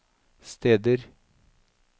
steder